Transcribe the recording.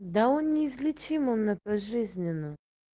да он неизлечимо на пожизненно